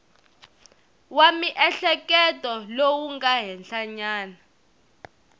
wa miehleketo lowu nga henhlanyana